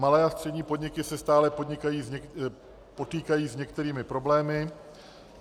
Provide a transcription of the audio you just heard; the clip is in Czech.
Malé a střední podniky se stále potýkají s některými problémy.